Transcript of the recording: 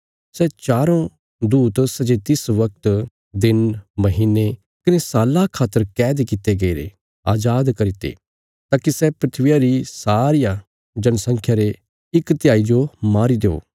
सै चारों दूत सै जे तिस वगत दिन महीने कने साल्ला खातर कैद कित्ते गईरे अजाद करी ते ताकि सै धरतिया री सारिया जनसंख्या रे इक तिहाई जो मारी देओ